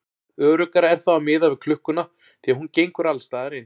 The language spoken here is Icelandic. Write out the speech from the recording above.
Öruggara er þá að miða við klukkuna því að hún gengur alls staðar eins.